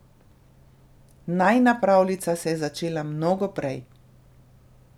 Najina pravljica se je začela mnogo prej.